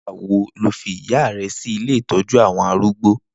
Nigbà wó ló fi ìyá rè si ilé itọ̀jú awọn àrúgbó?